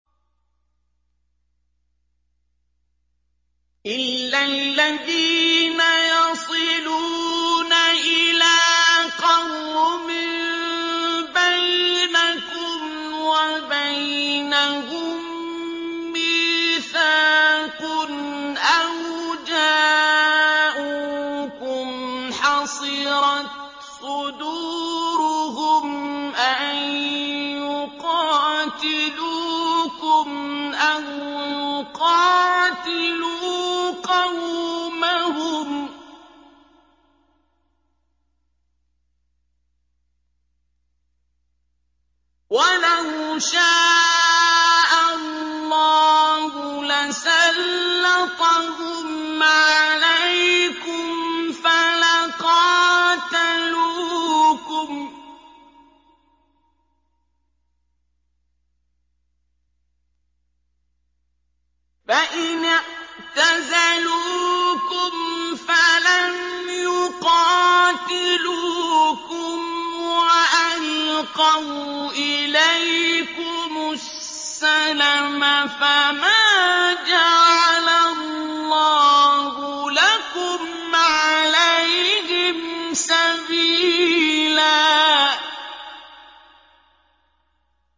إِلَّا الَّذِينَ يَصِلُونَ إِلَىٰ قَوْمٍ بَيْنَكُمْ وَبَيْنَهُم مِّيثَاقٌ أَوْ جَاءُوكُمْ حَصِرَتْ صُدُورُهُمْ أَن يُقَاتِلُوكُمْ أَوْ يُقَاتِلُوا قَوْمَهُمْ ۚ وَلَوْ شَاءَ اللَّهُ لَسَلَّطَهُمْ عَلَيْكُمْ فَلَقَاتَلُوكُمْ ۚ فَإِنِ اعْتَزَلُوكُمْ فَلَمْ يُقَاتِلُوكُمْ وَأَلْقَوْا إِلَيْكُمُ السَّلَمَ فَمَا جَعَلَ اللَّهُ لَكُمْ عَلَيْهِمْ سَبِيلًا